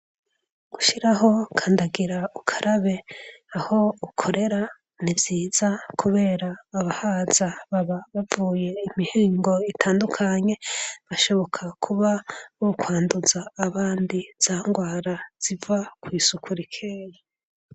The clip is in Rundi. Gushiraho kandagira ukarabe aho ukorera ni vyiza kubera abahaza baba bavuye imihingo itandukanye, bashoboka kuba bokwanduza abandi za ndwara ziva kw'isuku rikeyi.